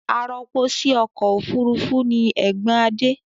Arọpo sí ọkọ̀ òfurufú ni ẹ̀gbọ́n Adé.